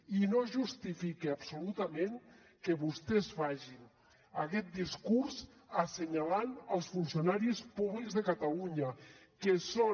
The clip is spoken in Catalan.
i no justifica absolutament que vostès facin aquest discurs assenyalant els funcionaris públics de catalunya que són